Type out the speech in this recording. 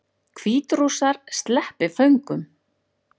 Hvítrússar sleppi föngum